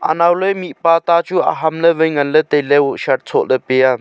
anao ley mihpa ta chu aham ley vai ngan ley tailey vo shirt soh ley pia.